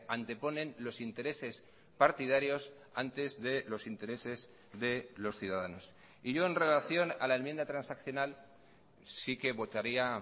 anteponen los intereses partidarios antes de los intereses de los ciudadanos y yo en relación a la enmienda transaccional sí que votaría